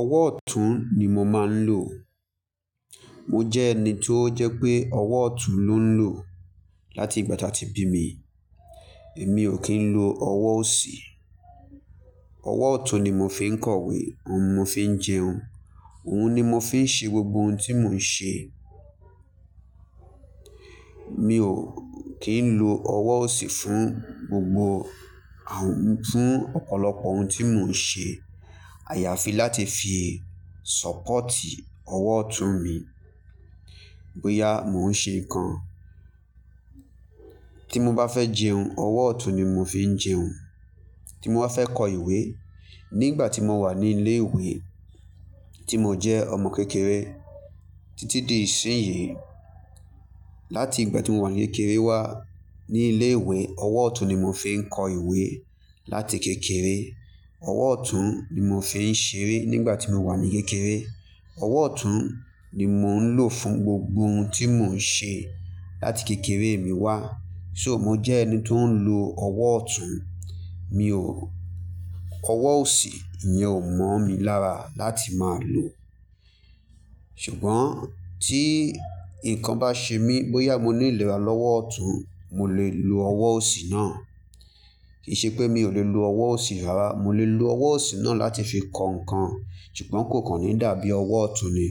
Ọwọ́ ọ̀tún ni mo máa ń lò. Mo jẹ́ ẹni tó jẹ́ pé ọwọ́ ọ̀tún ló ń lò láti ìgbà tí áti bi mí. Èmi ò kí ń lo ọwọ́ òsì. Ọwọ́ ọ̀tún ni mo fi ń kọ ìwé, òun mo fi ń jẹun, òun ni mo fi ń ṣe gbogbo ohun tí mo ń ṣe. Mi ò kí ń lo ọwọ́ òsì fún gbogbo à-- fún ọ̀pọ̀lọpọ̀ ohun tí mo ń ṣe. Àyàfi láti fi sọ́pọ̀tì ọwọ́ ọ̀tún mi, bóyá mò ń ṣe nǹkan. Tí mo bá fẹ́ jẹun, ọwọ́ ọ̀tún ni mo fi ń jẹun. Tí mo bá fẹ́ kọ ìwé, nígbà tí mo wà ní ilé ìwé, tí mo jẹ́ ọmọ kékeré títí di ìsinyìí, láti ìgbà tí mo wà ní kékeré wá ní ilé ìwé, ọwọ́ ọ̀tún ni mo fi ń kọ ìwé láti kékeré. Ọwọ́ ọ̀tún ni mo fi ń ṣeré nígbà tí mo wà ní kékeré. Ọwọ́ ọ̀tún ni mò ń lò fún gbogbo ohun tí mo ń ṣe láti kékeré mi wá. So, mo jẹ́ ẹni tó ń lo ọwọ́ ọ̀tún. Mi ò-- ọwọ́ òsì yẹn ò mọ̀ mí lára láti máa lò. Ṣùgbọ́n tí nǹkan bá ṣe mí, bóyá mo ní ìlera lọ́wọ́ ọ̀tún, mo lè lo ọwọ́ òsì náà. Kì í ṣe pé mi ò lè lo ọwọ́ òsì rárá, mo lè lo ọwọ́ òsì náà láti fi kọ nǹkan, ṣùgbọ́n kò kàn ní dàbí ọwọ́ ọ̀tún ni.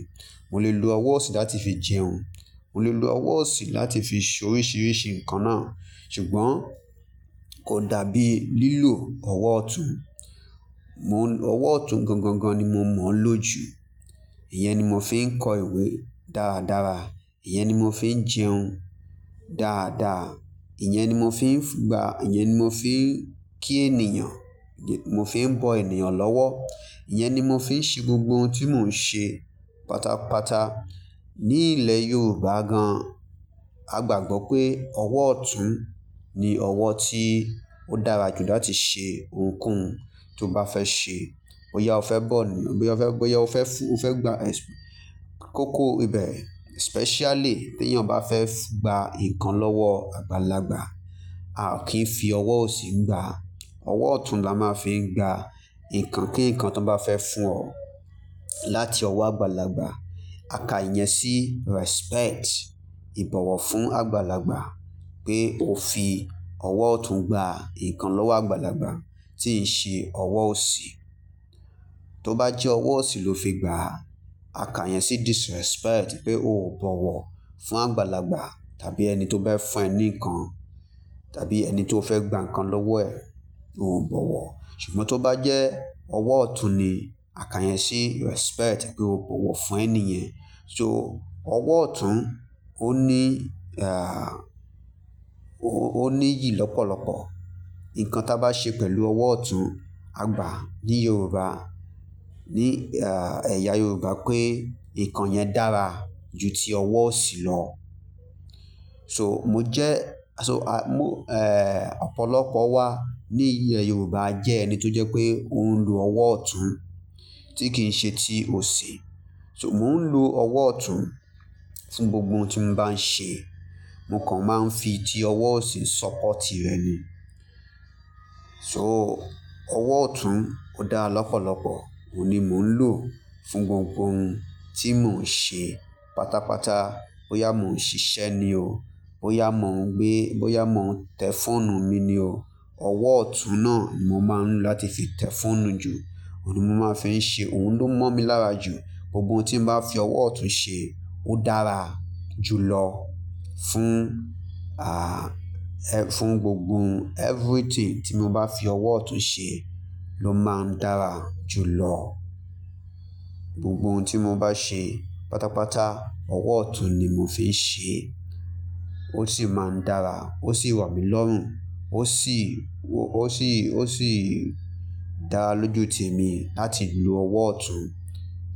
Mo lè lo ọwọ́ òsì láti fi jẹun, mo lè lo ọwọ́ òsì láti fi ṣe oríṣiríṣi nǹkan náà, ṣùgbọ́n kò dàbí lílò ọwọ́ ọ̀tún. Mo-- ọwọ́ ọ̀tún gangan ni mo mọ̀ ọ́n lò jù. Ìyẹn ni mo fi ń kọ ìwé dáradára, ìyẹn ni mo fi ń jẹun dáadáa, ìyẹn ni mo fi ń gba, ìyẹn ni mo fi ń kí ènìyàn, mo fi ń bọ̀ ènìyàn lọ́wọ́, ìyẹn ni mo fi ń ṣe gbogbo ohun tí mò ń ṣe pátápátá. Ní ilẹ̀ Yorùbá gan, a gbàgbọ́ pé ọwọ́ ọ̀tún ni ọwọ́ tí ó dára jù láti ṣe ohunkóhun tí o bá fẹ́ ṣe. Ó yá o fẹ́ bọ̀ ni, bóyá o fẹ́ fún, o fẹ́ gba, ẹṣ-- kókó ibẹ̀, especially bí èèyàn bá fẹ́ gba nǹkan lọ́wọ́ àgbàlagbà, a ò kí ń fi ọwọ́ òsì gbàá. Ọwọ́ ọ̀tún la máa fi ń gba nǹkan kí nǹkan tó bá fẹ́ fún ọ láti ọwọ́ àgbàlagbà. A ka ìyẹn sí respect, ìbọ̀wọ̀ fún àgbàlagbà pé o fi ọwọ́ ọ̀tún gba nǹkan lọ́wọ́ àgbàlagbà, tí n ṣe ọwọ́ òsì. Tó bá jẹ́ ọwọ́ òsì ló fi gbà á, a ka ìyẹn sí disrespect pé o ò bọ̀wọ̀ fún àgbàlagbà tàbí ẹni tó bá fẹ́ ní nǹkan tàbí ẹni tó fẹ́ gba nǹkan lọ́wọ́ ẹ̀, pé òun ò bọ̀wọ̀. Ṣùgbọ́n tó bá jẹ́ ọwọ́ ọ̀tún ni, a ka ìyẹn sí respect pé o bọ̀wọ̀ fún ẹni yẹn. So, ọwọ́ ọ̀tún ó ní, ah, ó ní iyì lọ́pọ̀lọpọ̀. Nǹkan tí a bá ṣe pẹ̀lú ọwọ́ ọ̀tún, a gbà ní Yorùbá, ní, ah, ẹ̀yà Yorùbá pé nǹkan yẹn dára ju ti ọwọ́ òsì lọ. So, mo jẹ́, so, ah, mo, eh, ọ̀pọ̀lọpọ̀ wa ni ilẹ̀ Yorùbá jẹ́ ẹni tó jẹ́ pé ó ń lo ọwọ́ ọ̀tún tí kìí ṣe ti òsì. So, mò ń lo ọwọ́ ọ̀tún fún gbogbo ohun tí mo bá ń ṣe. Mo kàn máa ń fi ti ọwọ́ òsì sọ́pọ̀tì rẹ̀ ni. So, ọwọ́ ọ̀tún ó dá lọ́pọ̀lọpọ̀, òun ni mò ń lò fún gbogbo ohun tí mò ń ṣe pátápátá. Bóyá mò ń ṣiṣẹ́ ni o, bóyá mò ń gbé, bóyá mò ń tẹ fóònù mi ni o, ọwọ́ ọ̀tún náà ni mo máa ń lò láti fi tẹ fóònù jù, òun ni mo máa fi ń ṣe, òun ló mọ̀ mí lára jù. Gbogbo ohun tí mo bá fi ọwọ́ ọ̀tún ṣe, ó dára jùlọ fún, ah, fún gbogbo everything tí mo bá fi ọwọ́ ọ̀tún ṣe ló máa ń dára jùlọ. Gbogbo ohun tí mo bá ṣe pátápátá, ọwọ́ ọ̀tún ni mo fi ń ṣe, ó sì máa ń dára, ó sì wà mí lọ́rùn, ó sì, ó sì, ó sì dára lójoojúmi láti lò ọwọ́ ọ̀tún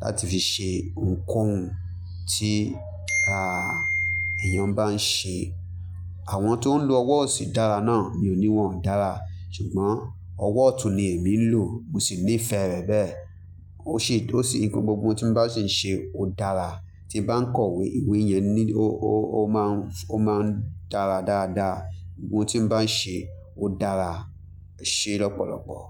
láti fi ṣe ohunkóhun tí, ah, èèyàn bá ń ṣe. Àwọn tó ń lo ọwọ́ òsì dára náà, mi ò ní wọ́n ò dára, ṣùgbọ́n ọwọ́ ọ̀tún ni èmi ń lò, mo sì ní ìfẹ́ rẹ̀ bẹ́ẹ̀. Ó ṣe, ó ṣe gbogbo ohun tí n bá sì ń ṣe ó dára. Tí n bá ń kọ ìwé, ìwé yẹn ní ó, ó máa ń, ó máa ń dára dáadáa. Ohun tí n bá ń ṣe ó dára ṣe lọ́pọ̀lọpọ̀.